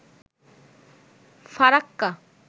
Farakka